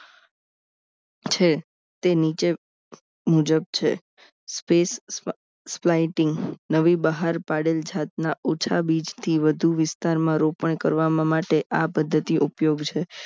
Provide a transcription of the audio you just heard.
છે તે નીચે મુજબ છે space spaiting નવી બહાર પાડેલ જાતના ઓછા બીજથી વધુ વિસ્તારમાં રોપણ કરવામાં માટે આ પદ્ધતિ ઉપયોગ છે